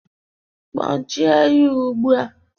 Kpọchie ya ugbu a!